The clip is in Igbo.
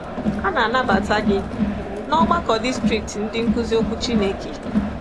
A na-anabata gi ná Ọgbakọ Distrikti Ndị Nkuzi Okwu Chineke.